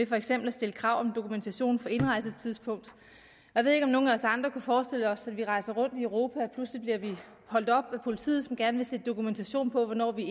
for eksempel stillede krav om dokumentation for indrejsetidspunkt jeg ved ikke om nogle af os andre kunne forestille os at vi rejste rundt i europa og pludselig blev holdt op af politiet som gerne ville se dokumentation på hvornår vi